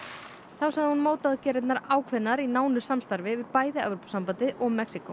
þá sagði hún ákveðnar í nánu samstarfi við bæði Evrópusambandið og Mexíkó